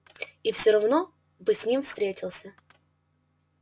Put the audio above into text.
и всё равно бы с ним встретился